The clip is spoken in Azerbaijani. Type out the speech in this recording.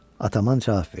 Ataman cavab verdi.